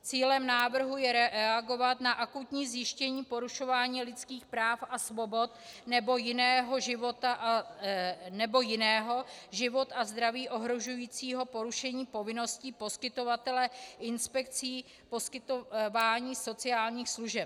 Cílem návrhu je reagovat na akutní zjištění porušování lidských práv a svobod, nebo jiného život a zdraví ohrožujícího porušení povinností poskytovatele inspekcí poskytování sociálních služeb.